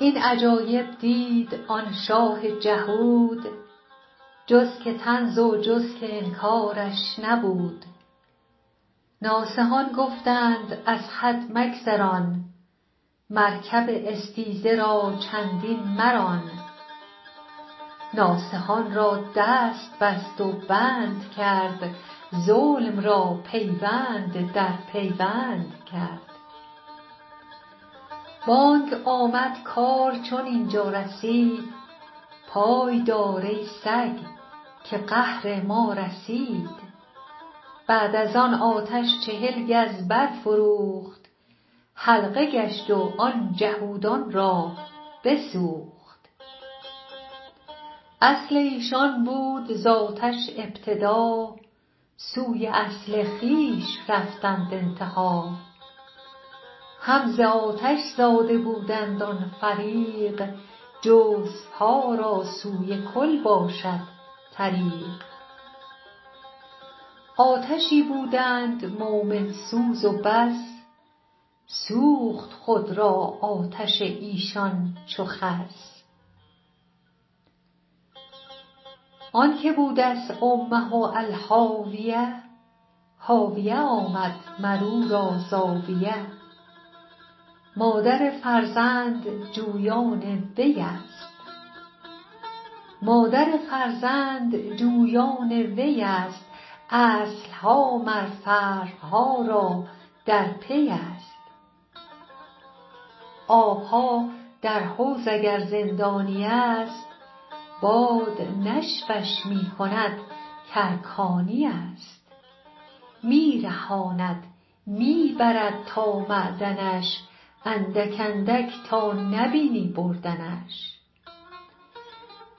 این عجایب دید آن شاه جهود جز که طنز و جز که انکارش نبود ناصحان گفتند از حد مگذران مرکب استیزه را چندین مران ناصحان را دست بست و بند کرد ظلم را پیوند در پیوند کرد بانگ آمد کار چون اینجا رسید پای دار ای سگ که قهر ما رسید بعد از آن آتش چهل گز بر فروخت حلقه گشت و آن جهودان را بسوخت اصل ایشان بود آتش ز ابتدا سوی اصل خویش رفتند انتها هم ز آتش زاده بودند آن فریق جزوها را سوی کل باشد طریق آتشی بودند مؤمن سوز و بس سوخت خود را آتش ایشان چو خس آنک بودست امه الهاویه هاویه آمد مرورا زاویه مادر فرزند جویان ویست اصلها مر فرعها را در پیست آبها در حوض اگر زندانیست باد نشفش می کند کارکانیست می رهاند می برد تا معدنش اندک اندک تا نبینی بردنش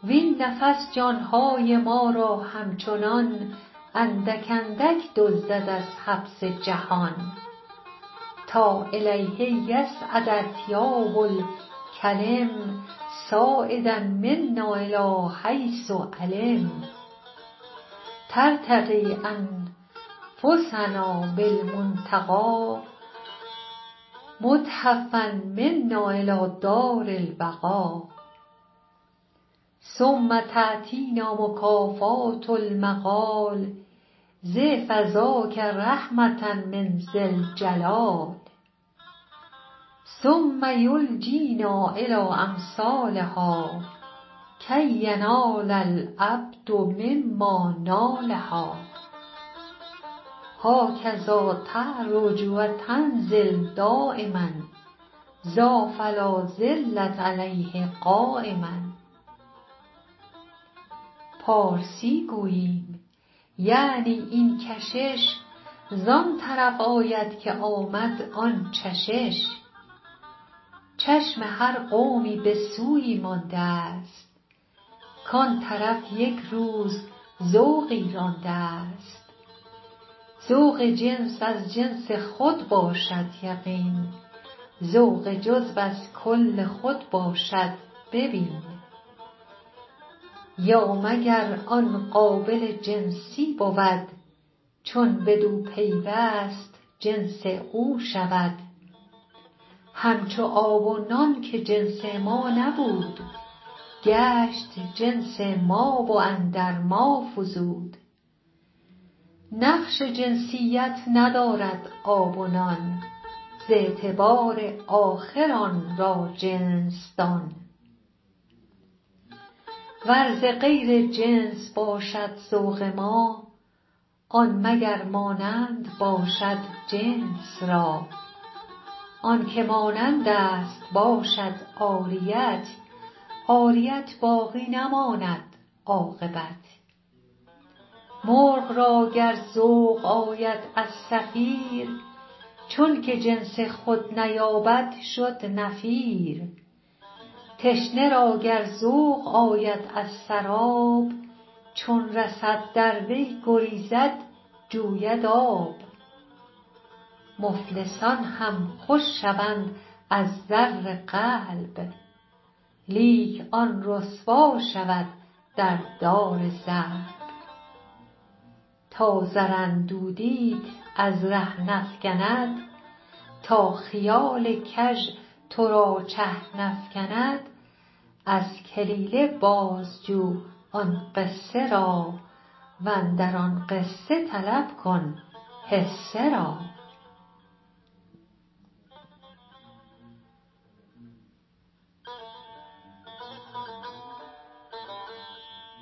وین نفس جانهای ما را همچنان اندک اندک دزدد از حبس جهان تا الیه یصعد اطیاب الکلم صاعدا منا الی حیث علم ترتقی انفاسنا بالمنتقا محتفا منا الی دارالبقا ثم تأتینا مکافات المقال ضعف ذاک رحمة من ذی الجلال ثم یلجینا الی امثالها کی ینال العبد مما نالها هاکذا تعرج و تنزل دایما ذا فلازلت علیه قایما پارسی گوییم یعنی این کشش زان طرف آید که آمد آن چشش چشم هر قومی به سویی مانده ست کان طرف یک روز ذوقی رانده ست ذوق جنس از جنس خود باشد یقین ذوق جزو از کل خود باشد ببین یا مگر آن قابل جنسی بود چون بدو پیوست جنس او شود همچو آب و نان که جنس ما نبود گشت جنس ما و اندر ما فزود نقش جنسیت ندارد آب و نان ز اعتبار آخر آن را جنس دان ور ز غیر جنس باشد ذوق ما آن مگر مانند باشد جنس را آنک مانندست باشد عاریت عاریت باقی نماند عاقبت مرغ را گر ذوق آید از صفیر چونک جنس خود نیابد شد نفیر تشنه را گر ذوق آید از سراب چون رسد در وی گریزد جوید آب مفلسان هم خوش شوند از زر قلب لیک آن رسوا شود در دار ضرب تا زر اندودیت از ره نفکند تا خیال کژ ترا چه نفکند از کلیله باز جو آن قصه را واندر آن قصه طلب کن حصه را